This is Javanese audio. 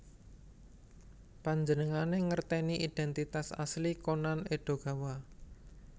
Panjenengané ngerteni identitas asli Conan Edogawa